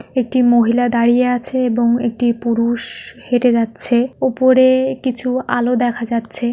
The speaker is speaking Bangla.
একটি মহিলা দাঁড়িয়ে আছে এবং এটি পুরু -ষ হেটে যাচ্ছে উপরে-এ কিছু আলো দেখা যাচ্ছে।